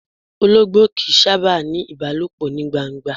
Ológbò kìí sábà ni ìbálòpọ̀ ní gbangba.